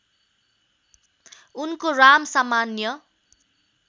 उनको राम सामान्य